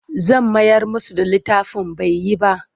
Zan mayar musu da littafin bai yi ba.